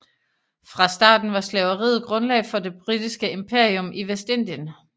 Fra starten var slaveriet grundlag for det britiske imperium i Vestindien